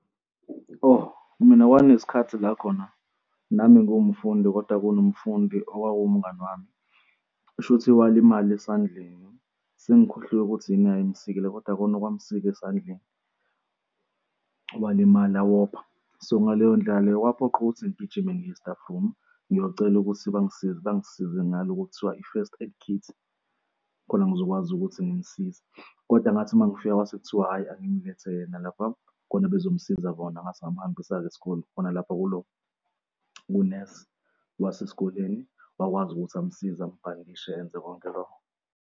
Oh, mina kwakunesikhathi la khona, nami ngiwumfundi kodwa kunomfundi owayewumngani wami. Kushuthi walimala esandleni. Sengikhohlwe ukuthi yini eyayimsikale kodwa khona okwakumsile esandleni walimala wopha, so, ngaleyo ndlela leyo kwaphoqa ukuthi ngigijime ngiye e-staff room, ngiyocela ukuthi bangisize, bangisize ngaloku okuthiwa i-first aid kit khona ngizokwazi ukuthi ngimsize. Kodwa ngathi masengifika kwasekuthiwa, hhayi, angimlethe yena lapha khona bezomsiza bona ngase ngamhambisa esikole khona lapha kulo kunesi wasesikoleni wakwazi ukuthi amsize ambhandishe enze konke loko.